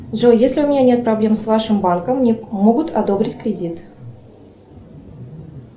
джой если у меня нет проблем с вашим банком мне могут одобрить кредит